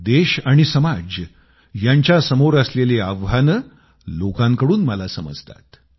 देश आणि समाज यांच्यासमोर असलेली आव्हाने लोकांकडून मला समजतात